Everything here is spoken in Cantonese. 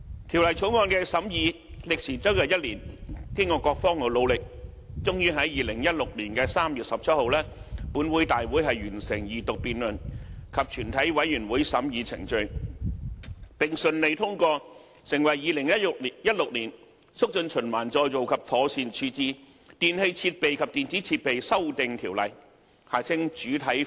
《條例草案》的審議歷時將近1年，經過各方努力，終於在2016年3月17日的立法會會議完成二讀辯論及全體委員會審議階段，並順利通過成為《2016年促進循環再造及妥善處置條例》。